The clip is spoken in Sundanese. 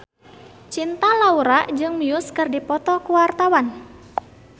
Cinta Laura jeung Muse keur dipoto ku wartawan